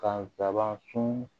Ka laban sun